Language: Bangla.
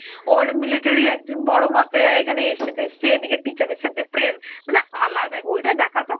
ওর military একজন বড় মাপের এখানে এসছে ফেস্ছে, এদিকে teacher এর সথে প্রেম মানে আলাদাই, ঐটা দেখার পর